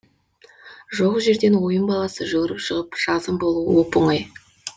жоқ жерден ойын баласы жүгіріп шығып жазым болуы оп оңай